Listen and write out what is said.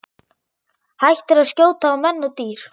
Hættir að skjóta á menn og dýr.